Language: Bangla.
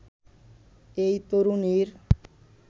এই তরুণীর